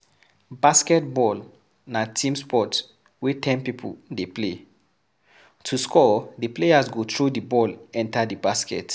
Basketball na team sport wey ten pipo dey play, to score di players go throw di ball enter di basket.